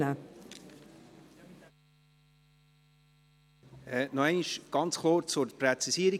Noch einmal, ganz kurz, zur Präzisierung.